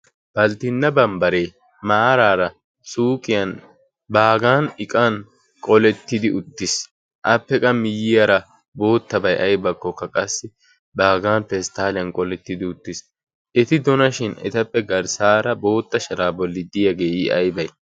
Balttina barbbaare marara suuqiyan baggan iqqan qoletidi uttis. Appe qa miyiyara boottabay aybakoka qassi baggan pestaliyan qoletidi uttiis. Eti donashin etappe garssara boottaa shara bolli diyage i aybee?